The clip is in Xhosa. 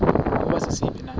ukuba sisiphi na